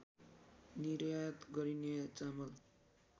निर्यात गरिने चामल